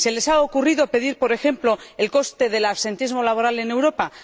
¿Se les ha ocurrido pedir, por ejemplo, el coste del absentismo laboral en Europa?